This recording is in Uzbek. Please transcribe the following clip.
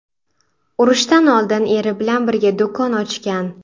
Urushdan oldin eri bilan birga do‘kon ochgan.